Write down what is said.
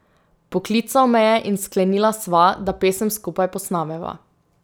Poklical me je in sklenila sva, da pesem skupaj posnameva.